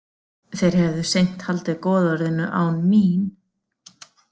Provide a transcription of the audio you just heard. Þeir hefðu seint haldið goðorðinu án mín.